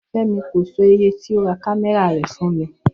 Fé̩mi kò so̩ iye tí ó ra kámé̩rà rè̩ fún mi